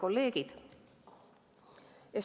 Kolleegid!